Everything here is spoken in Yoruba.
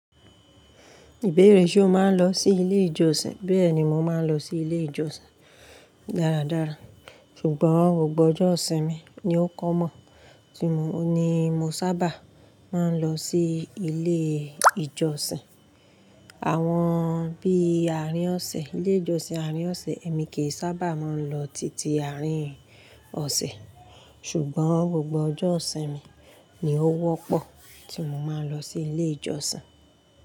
Ìbéèrè ṣe o máa ń lọ sí ilé ìjọsìn? Bẹ́ẹ̀ni, mo máa ń lọ sí ilé ìjọsìn dáradára, ṣùgbọ́n gbogbo ọjọ́ ìsinmi ni ó common tí mo oun ni mo sábà máa ń lọ sí ilé ìjọsìn. Àwọn bí àárín ọ̀sẹ̀, ilé ìjọsìn àárín ọ̀sẹ̀ èmi kì í sábà máa ń lọ titi àárín ọ̀sẹ̀, ṣùgbọ́n gbogbo ọjọ́ isinmi ni ó wọ́pọ̀ tí mo máa ń lọ sí ilé ìjọsìn.